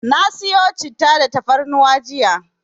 Na siyo Citta da tafarnuwa jiya.